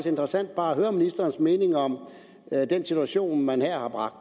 interessant bare at høre ministerens mening om den situation man her har bragt